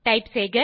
type செய்க